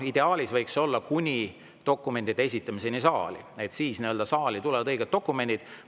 Ideaalis võiks see olla kuni dokumentide esitamiseni saali, siis tulevad saali õiged dokumendid.